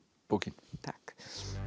bókin takk